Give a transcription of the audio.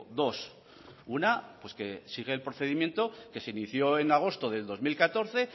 dos una pues que sigue el procedimiento que se inició en agosto del dos mil catorce